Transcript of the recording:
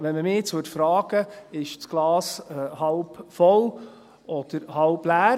Wenn man mich jetzt also fragen würde: Ist das Glas halb voll, oder ist es halb leer?